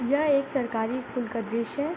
यह एक सरकारी स्कूल का दृश्य है।